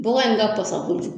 Bɔgɔ in ka pasan kojugu.